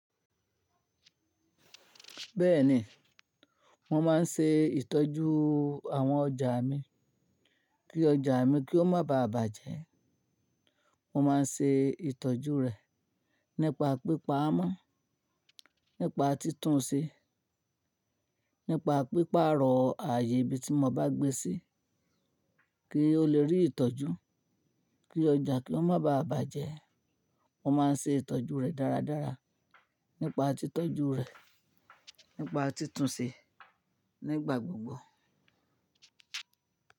Bẹ́ẹ̀ni, mo máa ń ṣe ìtọ́jú àwọn ọjà mi kí ọjà mi kí ó má baà bàjẹ́. Mo máa ń ṣe ìtọ́jú rẹ̀ nípa pípaa mọ́, nípa títún un ṣe, nípa pípaa rọ̀ ààyè ibi tí mo bá gbé sí kí ó lè rí ìtọ́jú. Kí ọjà kí ó má baà bàjẹ́, mo máa ń ṣe ìtọ́jú rẹ̀ dáradára nípa títọ́jú rẹ̀, nípa títún ṣe nígbà gbogbo.